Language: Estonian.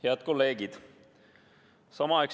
Head kolleegid!